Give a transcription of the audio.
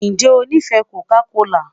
Ṣe o nifẹ Coca kola?